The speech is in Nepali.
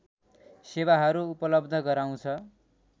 सेवाहरू उपलव्ध गराउँछ